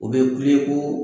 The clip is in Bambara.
O bɛ wili koo.